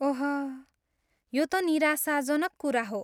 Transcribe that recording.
ओह, यो त निराशजनक कुरा हो।